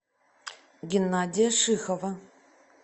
геннадия шихова